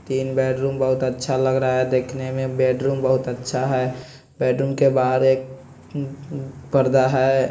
तीन बेडरूम बहुत अच्छा लग रहा है देखने में बेडरूम बहुत अच्छा है बेडरूम के बाहर एक पर्दा है।